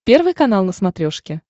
первый канал на смотрешке